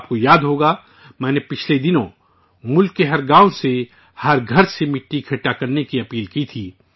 آپ کو یاد ہوگا، میں پچھلے دنوں ملک کے ہر گاؤں سے، ہر گھر سے مٹی جمع کرنے کی اپیل کی تھی